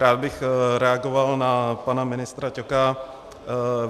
Rád bych reagoval na pana ministra Ťoka.